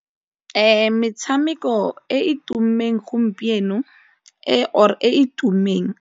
Metshameko e tumileng gompieno e or e tumileng.